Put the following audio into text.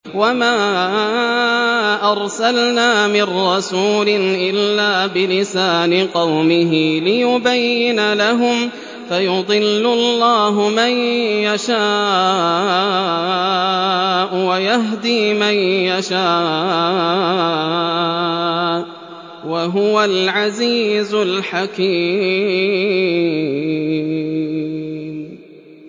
وَمَا أَرْسَلْنَا مِن رَّسُولٍ إِلَّا بِلِسَانِ قَوْمِهِ لِيُبَيِّنَ لَهُمْ ۖ فَيُضِلُّ اللَّهُ مَن يَشَاءُ وَيَهْدِي مَن يَشَاءُ ۚ وَهُوَ الْعَزِيزُ الْحَكِيمُ